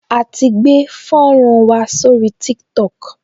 A ti gbé fọ́nrán wa sórí Tiktok